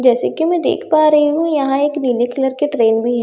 जैसे की मैं देख पा रही हूँ यहाँ एक नीले कलर की ट्रैन बी हैं जैसे की --